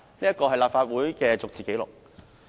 "這是立法會的逐字紀錄。